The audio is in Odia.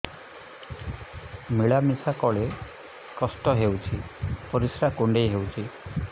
ମିଳା ମିଶା କଲେ କଷ୍ଟ ହେଉଚି ପରିସ୍ରା କୁଣ୍ଡେଇ ହଉଚି